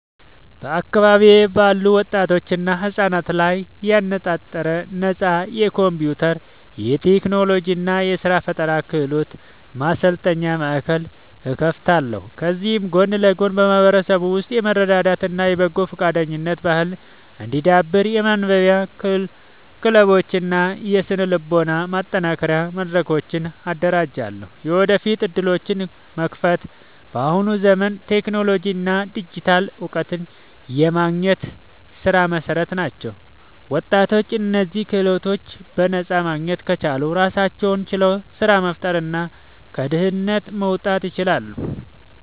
በአካባቢዬ ባሉ ወጣቶችና ህጻናት ላይ ያነጣጠረ ነፃ የኮምፒውተር፣ የቴክኖሎጂ እና የስራ ፈጠራ ክህሎት ማሰልጠኛ ማእከል እከፍታለሁ። ከዚህም ጎን ለጎን በማህበረሰቡ ውስጥ የመረዳዳት እና የበጎ ፈቃደኝነት ባህል እንዲዳብር የማንበቢያ ክለቦችን እና የስነ-ልቦና ማጠናከሪያ መድረኮችን አደራጃለሁ። የወደፊት ዕድሎችን መክፈት፦ በአሁኑ ዘመን ቴክኖሎጂ እና ዲጂታል እውቀት የማንኛውም ስራ መሰረት ናቸው። ወጣቶች እነዚህን ክህሎቶች በነፃ ማግኘት ከቻሉ ራሳቸውን ችለው ስራ መፍጠርና ከድህነት መውጣት ይችላሉ።